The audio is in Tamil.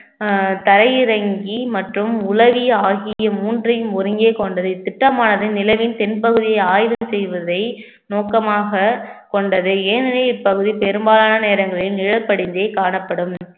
அஹ் தரையிறங்கி மற்றும் உளவி ஆகிய மூன்றையும் ஒருங்கே கொண்டது இத்திட்டமானது நிலவின் தென்பகுதியை ஆய்வு செய்வதை நோக்கமாக கொண்டது ஏனெனில் இப்பகுதி பெரும்பாலான நேரங்களில் நிழற்படிந்தே காணப்படும்